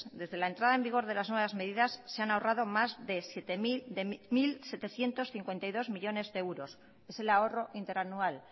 desde la entrada en vigor de las nuevas medidas se han ahorrado más de mil setecientos cincuenta y dos millónes de euros es el ahorro interanual